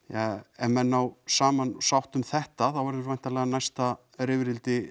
ef menn ná saman og sátt um þetta þá mun væntanlega næsta rifrildi